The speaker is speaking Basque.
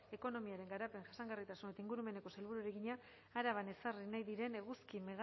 ekonomiaren garapen jasangarritasun eta ingurumeneko sailburuari egina araban ezarri nahi diren eguzki